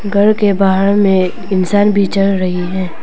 घर के बाहर में इंसान भी चल रही है।